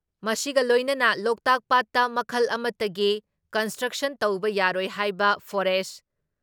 ꯃꯁꯤꯒꯤ ꯂꯣꯏꯅꯅ ꯂꯣꯛꯇꯥꯛ ꯄꯥꯠꯇ ꯃꯈꯜ ꯑꯃꯠꯇꯒꯤ ꯀꯟꯁꯇ꯭ꯔꯛꯁꯟ ꯇꯧꯕ ꯌꯥꯔꯣꯏ ꯍꯥꯏꯕ ꯐꯣꯔꯦꯁ